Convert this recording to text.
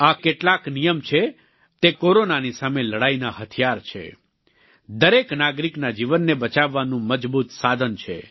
આ કેટલાક નિયમ છે તે કોરોનાની સામે લડાઈના હથિયાર છે દરેક નાગરિકના જીવનને બચાવવાનું મજબૂત સાધન છે